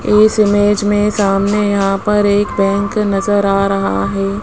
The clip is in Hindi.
इस इमेज में सामने यहां पर एक बैंक नजर आ रहा है।